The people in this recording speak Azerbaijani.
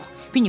Vinni Pux dedi.